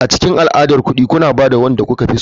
A cikin al'adar kuɗi kuna ba da wanda kuka fi so.